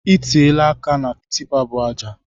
I tiela aka na tipa bu ajai!